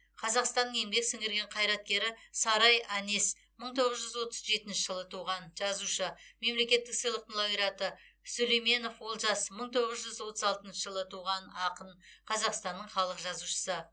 қазақстанның еңбек сіңірген қайраткері сарай әнес мың тоғыз жүз отыз жетінші жылы туған жазушы мемлекеттік сыйлықтың лауреаты сүлейменов олжас мың тоғыз жүз отыз алтыншы жылы туған ақын қазақстанның халық жазушысы